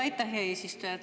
Aitäh, hea eesistuja!